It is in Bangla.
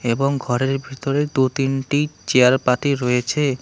এবং ঘরের ভিতরে দু তিনটি চেয়ার পাতি রয়েছে।